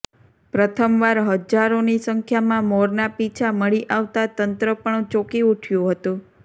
પ્રથમવાર હજારોની સંખ્યામાં મોરના પીંછા મળી આવતાં તંત્ર પણ ચોકી ઊઠયુ હતુ